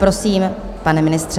Prosím, pane ministře.